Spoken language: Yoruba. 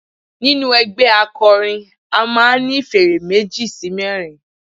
Nínú ẹgbẹ́ akọrin a máà ń ní fèrè meji sí mẹrin.